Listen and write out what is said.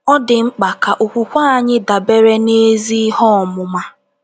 Ọ dị mkpa ka okwukwe anyị dabere n’ezi ihe ọmụma.